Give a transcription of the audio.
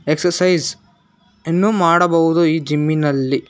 exercise ಎನ್ನು ಮಾಡಬಹುದು ಈ ಜಿಮ್ಮಿನಲ್ಲಿ--